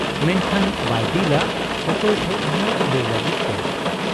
ᱢᱮᱱᱠᱷᱟᱱ ᱵᱟᱭ ᱫᱤᱞ ᱟ ᱚᱠᱚᱭ ᱴᱷᱮᱫ ᱦᱚᱸ ᱞᱟᱹᱭ ᱞᱟᱹᱜᱤᱫ ᱛᱮ ᱾